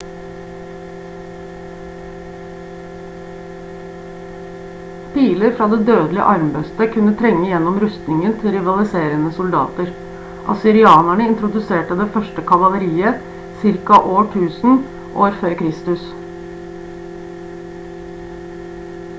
piler fra det dødelige armbrøstet kunne trenge gjennom rustningen til rivaliserende soldater assyrianerne introduserte det første kavaleriet ca 1000 år f.kr